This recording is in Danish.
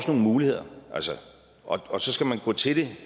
nogle muligheder og så skal man gå til det